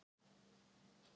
Hann hefur alltaf verið það.